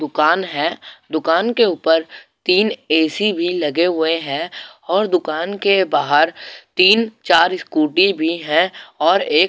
दुकान है दुकान के ऊपर तीन ए_सी भी लगे हुए हैं और दुकान के बाहर तीन चार स्कूटी भी हैं और एक --